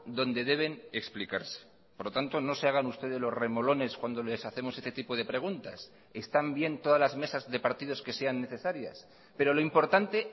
donde deben explicarse por lo tanto no se hagan ustedes los remolones cuando les hacemos este tipo de preguntas están bien todas las mesas de partidos que sean necesarias pero lo importante